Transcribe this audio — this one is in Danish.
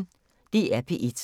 DR P1